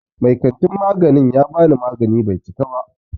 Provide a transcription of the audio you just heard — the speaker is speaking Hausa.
Mai kantin magani ya bani magani Bai cika ba.